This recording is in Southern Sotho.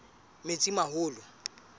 metsimaholo